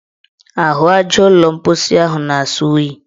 Ahụaja ụlọ mposi ahụ na-asọ oyi.